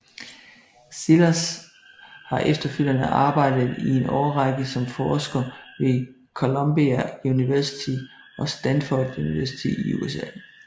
Szilas har efterfølgende arbejdet i en årrække som forsker ved Columbia University og Stanford University i USA